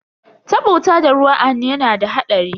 Taba wuta da ruwa a hannu yana da hadari.